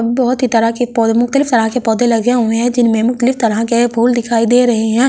बहुत ही तरह के पौधे मुख्तलिफ तरह के पौधे लगे हुए हैं जिनमें मुख्तलिफ तरह के फूल दिखाई दे रहे हैं।